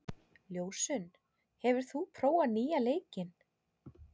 Ljósunn, hefur þú prófað nýja leikinn?